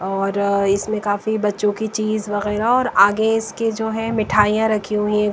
और अ इसमें काफी बच्चों की चीज वगैरह और आगे इसके जो है मिठाइयां रखी हुई हैं।